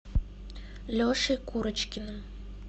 лешей курочкиным